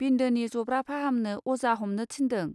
बिन्दोनि जब्रा फाहामनो अजा हमनो थिन्दों.